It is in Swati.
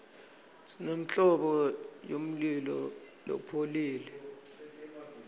simemltlobo yemlulo lopholile